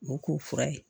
O k'o fura ye